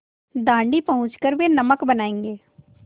दाँडी पहुँच कर वे नमक बनायेंगे